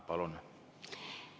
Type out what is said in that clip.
Palun!